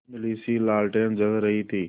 धुँधलीसी लालटेन जल रही थी